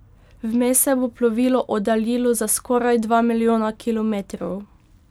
Vmes se bo plovilo oddaljilo za skoraj dva milijona kilometrov.